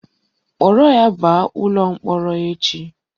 Kpọrọ ya baa ụlọ mkpọrọ echi!